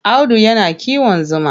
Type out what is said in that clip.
Audu yana kiwon zuma.